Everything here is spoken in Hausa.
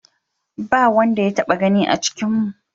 Ba wanda ya taɓa gani a cikinmu.